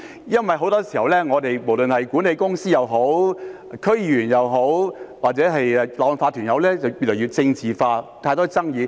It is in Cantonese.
因為很多時候，無論管理公司也好，區議員也好，或者業主立案法團也好，越來越政治化，有太多爭議。